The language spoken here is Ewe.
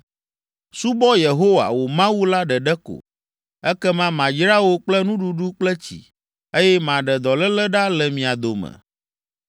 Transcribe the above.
“Subɔ Yehowa, wò Mawu la ɖeɖe ko, ekema mayra wò kple nuɖuɖu kple tsi, eye maɖe dɔléle ɖa le mia dome.